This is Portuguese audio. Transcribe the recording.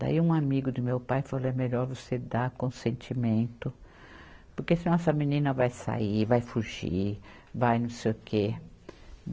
Daí um amigo do meu pai falou, é melhor você dar consentimento, porque senão essa menina vai sair, vai fugir, vai não sei o quê.